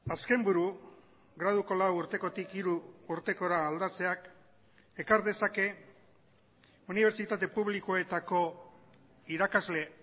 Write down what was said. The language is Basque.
azken buru graduko lau urtekotik hiru urtekora aldatzeak ekar dezake unibertsitate publikoetako irakasle